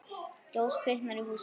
Ljós kviknar í húsinu.